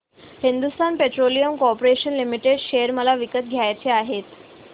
Hindustan petroleum corporation limited share मला विकत घ्यायचे आहेत